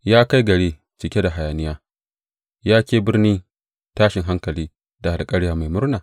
Ya kai gari cike da hayaniya, Ya ke birnin tashin hankali da alkarya mai murna?